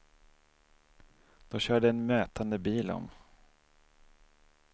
Då körde en mötande bil om.